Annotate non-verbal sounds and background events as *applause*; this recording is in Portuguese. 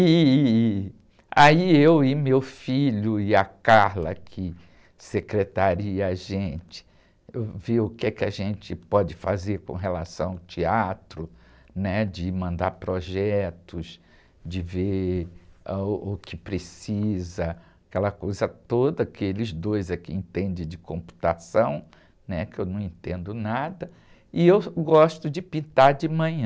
E aí eu e meu filho e a, *unintelligible* que secretaria a gente, vê o que a gente pode fazer com relação ao teatro, né? De mandar projetos, de ver, çah, o que precisa, aquela coisa toda que eles dois é que entendem de computação, né? Que eu não entendo nada, e eu gosto de pintar de manhã.